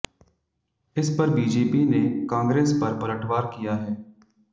इस पर बीजेपी ने कांग्रेस पर पलटवार किया है